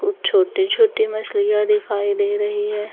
छोटे छोटे मछलियां दिखाई दे रही है।